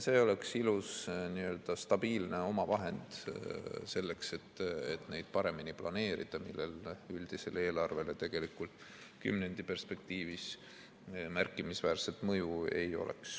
See oleks ilus stabiilne omavahend selleks, et neid paremini planeerida, millel üldisele eelarvele tegelikult kümnendi perspektiivis märkimisväärset mõju ei oleks.